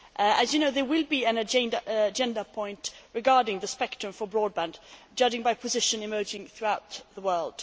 As you know, there will be an agenda point regarding the spectrum for broadband, judging by the position emerging throughout the world.